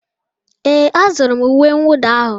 Ee, a zụrụ m uwe mwụda ahụ?